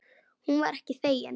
Hún var ekki þegin.